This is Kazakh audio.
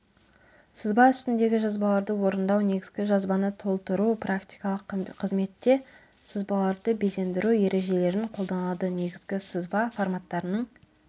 сызба үстіндегі жазбаларды орындау негізгі жазбаны толтыру практикалық қызметте сызбаларды безендіру ережелерін қолданады негізгі сызба форматтарының